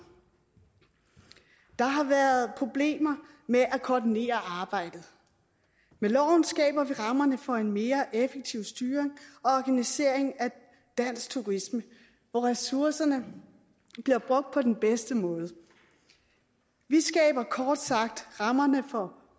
der har været problemer med at koordinere arbejdet med loven skaber vi rammerne for en mere effektiv styring og organisering af dansk turisme hvor ressourcerne bliver brugt på den bedste måde vi skaber kort sagt rammerne for